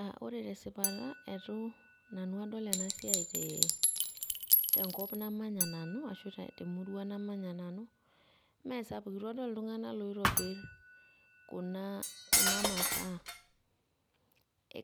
Aa ore te sipata etu nanu adol ena siai tee tenkop namanya nanu ashu te temurua namanya nanu. Mee sapuk itu adol iltung'anak loitobir kuna kuna masaa